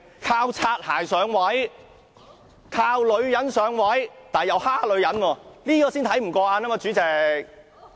靠"擦鞋"上位、靠女人上位，但又欺負女人，這才叫人看不過眼。